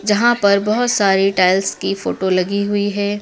जहां पर बहोत सारे टाइल्स की फोटो लगी हुई हैं।